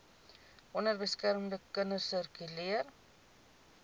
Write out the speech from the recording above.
onbeskermde kinders sirkuleer